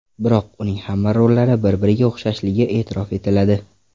Biroq uning hamma rollari bir-biriga o‘xshashligi e’tirof etiladi.